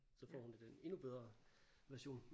Så får hun det den endnu bedre version